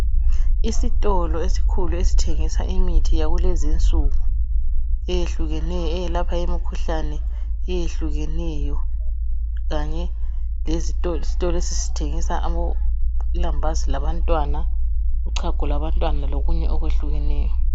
Isitolo esikhulu esithengisa imithi yakulezi insuku eyehlukeneyo eyelapha imkhuhlane eyehlukeneyo kanye isitolo lesi sithengisa ilambazi labantwana uchago lwabantwana lokunye okwehlukeneyo.